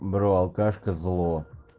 бро алкашка зло